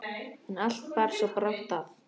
En allt bar svo brátt að.